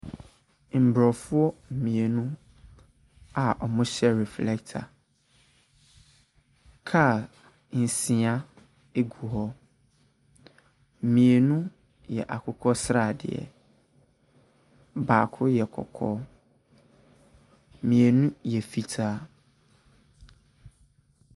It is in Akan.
Mborɔfo mienu a ɔmo hyɛ reflɛta. Kaa nsia egu hɔ, mienu yɛ akokɔsradeɛ, baako yɛ kɔkɔɔ, mienu yɛ fitaa.